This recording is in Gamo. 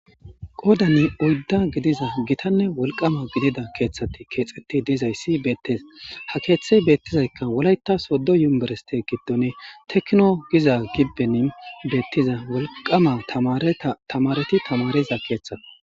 Qoodanni uudda gidiza gitanne wolqama gidida keeththatti keexetti dizayssi beettes ha keeththey beettizaykka wulayta soddo yumerste giddon tekno giza gibbenin beettiza wolqama tamareti tamariza keeththa.